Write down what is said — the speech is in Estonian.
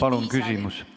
Palun küsimust!